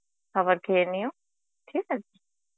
খাবার খেয়ে নিও ঠিক আছে?